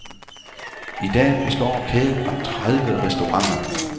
I dag består kæden af tredive restauranter.